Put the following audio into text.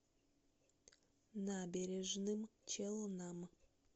набережным челнам